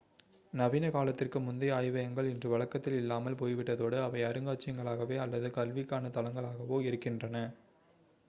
நவீன காலத்திற்கு முந்தைய ஆய்வகங்கள் இன்று வழக்கத்தில் இல்லாமல் போய்விட்டதோடு அவை அருங்காட்சியகங்களாகவோ அல்லது கல்விக்கான தளங்களாகவோ இருக்கின்றன